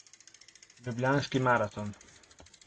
Ljubljanski maraton.